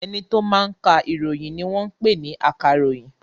Ẹni tó máa ka ìròyìn ni wọ́n ń pè ní akàròyìn.